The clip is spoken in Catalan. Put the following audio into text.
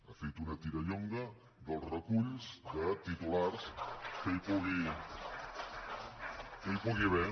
ha fet una tirallonga dels reculls de titulars que hi pugui haver